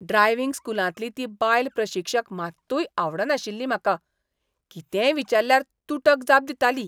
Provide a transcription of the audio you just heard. Driving स्कुलांतली ती बायल प्रशिक्षक मात्तूय आवडनाशिल्ली म्हाका. कितेंय विचाल्ल्यार तुटक जाप दिताली.